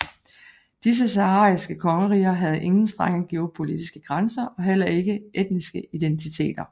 Disse sahariske kongeriger havde ingen strenge geopolitiske grænser og heller ikke etniske identiter